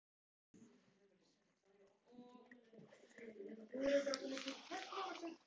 Ólöf Björk Bragadóttir: Hvað er svo framundan í kvöld?